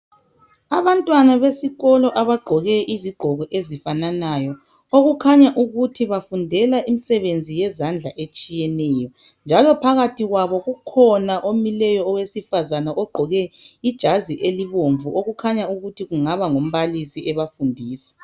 Abantwana besikolo abagqoke izigqoko ezifananayo okukhanya ukuthi bafundela imisebenzi yezandla etshiyeneyo. Njalo phakathi kwabo kukhona omileyo owesifazana ogqoke ijazi elibomvu okukhanya ukuthi kungaba ngumbalisi ebafundisa.